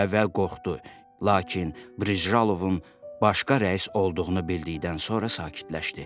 O əvvəl qorxdu, lakin Brižalovun başqa rəis olduğunu bildikdən sonra sakitləşdi.